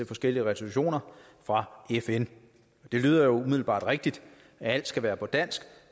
forskellige resolutioner fra fn det lyder jo umiddelbart rigtigt at alt skal være på dansk